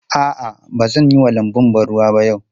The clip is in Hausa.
A'a, ba zan yi wa lanbun ban ruwa ba yau.